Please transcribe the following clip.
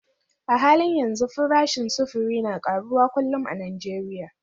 A halin yanzu farashin sufuri na karuwa kullum a Najeriya